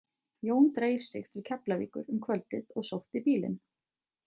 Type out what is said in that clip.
Jón dreif sig til Keflavíkur um kvöldið og sótti bílinn.